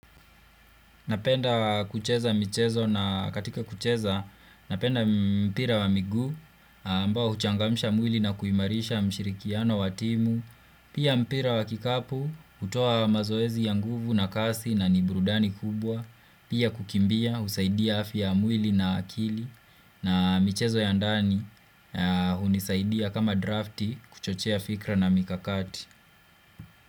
Napenda kucheza michezo na katika kucheza napenda mpira wa miguu ambao huchangamsha mwili na kuimarisha mshirikiano wa timu. Pia mpira wa kikapu hutoa mazoezi ya nguvu na kasi na ni burudani kubwa. Pia kukimbia husaidia afya ya mwili na akili na michezo ya ndani hunisaidia kama drafti kuchochea fikra na mikakati.